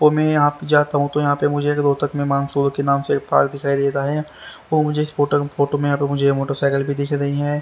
ओ मैं यहां पे जाता हूं तो यहां पे मुझे रोहतक में मानसून के नाम से एक पार्क दिखाई देता है और मुझे इस फोटो में मुझे ये मोटरसाइकिल भी दिख रही है।